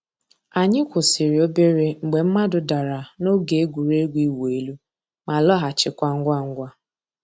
Ànyị̀ kwụsìrì òbèrè mgbè mmàdụ̀ dàrā n'ògè ègwè́régwụ̀ ị̀wụ̀ èlù, má lọ̀ghachikwa ngwá ngwá.